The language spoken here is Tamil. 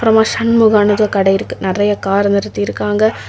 அப்ரோமா சண்முகானு ஏதோ கட இருக்கு நெறைய கார் நிறுத்திருக்காங்க.